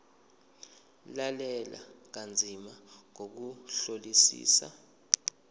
lalela kanzima ngokuhlolisisa